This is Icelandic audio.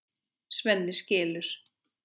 Svenni skilur.